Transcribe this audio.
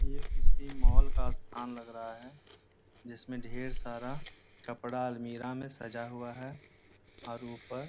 ये किसी मॉल का स्थान लग रहा है जिसमे ढेर सारा कपड़ा अलमीरा मे सजा हुआ है और ऊपर --